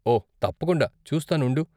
ఓ, తప్పకుండా, చూస్తాను ఉండు.